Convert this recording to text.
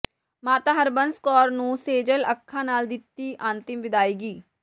ਮਾਤਾ ਹਰਬੰਸ ਕੌਰ ਨੂੰ ਸੇਜਲ ਅੱਖਾਂ ਨਾਲ ਦਿੱਤੀ ਅੰਤਿਮ ਵਿਦਾਇਗੀ